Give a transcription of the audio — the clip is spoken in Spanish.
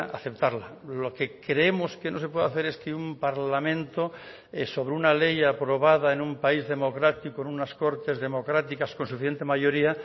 aceptarla lo que creemos que no se puede hacer es que un parlamento sobre una ley aprobada en un país democrático en unas cortes democráticas con suficiente mayoría